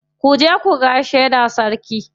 Ku je ku gaishe da sarki.